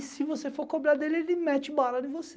E se você for cobrar dele, ele mete bala em você.